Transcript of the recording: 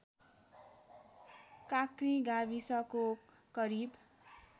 काँक्री गाविसको करिब